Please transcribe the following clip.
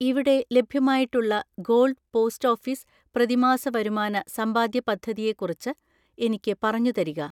ഇവിടെ ലഭ്യമായിട്ടുള്ള gold post office പ്രതിമാസ വരുമാന സമ്പാദ്യ പദ്ധതി യെ കുറിച്ച് എനിക്ക് പറഞ്ഞുതരിക.